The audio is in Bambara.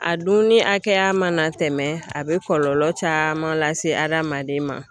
A dunni hakɛya mana tɛmɛ a bɛ kɔlɔlɔ caman lase adamaden ma.